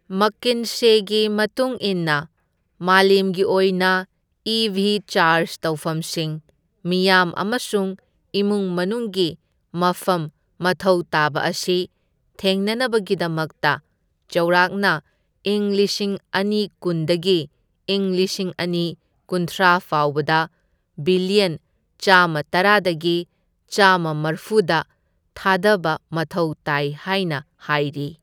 ꯃꯛꯀꯤꯟꯁꯦꯒꯤ ꯃꯇꯨꯡ ꯏꯟꯅ ꯃꯥꯂꯦꯝꯒꯤ ꯑꯣꯏꯅ ꯏꯤꯚꯤ ꯆꯥꯔꯖ ꯇꯧꯐꯝꯁꯤꯡ, ꯃꯤꯌꯥꯝ ꯑꯃꯁꯨꯡ ꯏꯃꯨꯡ ꯃꯅꯨꯡꯒꯤ ꯃꯐꯝ ꯃꯊꯧ ꯇꯥꯕ ꯑꯁꯤ ꯊꯦꯡꯅꯅꯕꯒꯤꯗꯃꯛꯇ ꯆꯧꯔꯛꯅ ꯢꯪ ꯂꯤꯁꯤꯡ ꯑꯅꯤ ꯀꯨꯟꯗꯒꯤ ꯢꯪ ꯂꯤꯁꯤꯡ ꯑꯅꯤ ꯀꯨꯟꯊ꯭ꯔꯥ ꯐꯥꯎꯕꯗ ꯕꯤꯂꯤꯌꯟ ꯆꯥꯝꯃꯇꯔꯥꯗꯒꯤ ꯆꯥꯝꯃꯃꯔꯐꯨꯗ ꯊꯥꯗꯕ ꯃꯊꯧ ꯇꯥꯏ ꯍꯥꯏꯅ ꯍꯥꯏꯔꯤ꯫